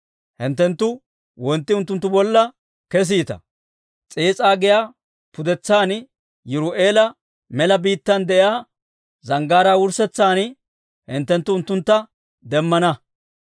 Hinttenttu wontti unttuntta bolla kesite. S'iis'a giyaa pudetsan Yiru'eela mela biittaan de'iyaa zanggaaraa wurssetsan hinttenttu unttuntta demmana.